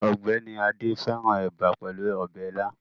Ọgbẹni Ade fẹrãn eba pelu ọbẹ ila